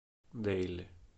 дэйли